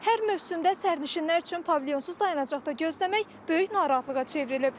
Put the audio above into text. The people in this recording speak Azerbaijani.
Hər mövsümdə sərnişinlər üçün pavilyonsuz dayanacaqda gözləmək böyük narahatlığa çevrilib.